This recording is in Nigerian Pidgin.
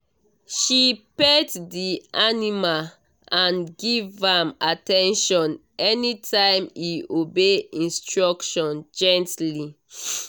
she pet the animal and give am at ten tion anytime e obey instruction gently